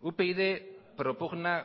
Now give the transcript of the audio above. upyd propugna